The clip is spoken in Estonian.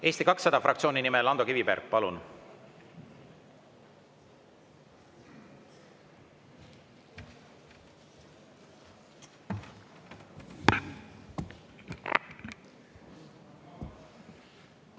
Eesti 200 fraktsiooni nimel Ando Kiviberg, palun!